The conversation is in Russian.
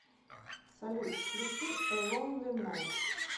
салют включи э лонли найт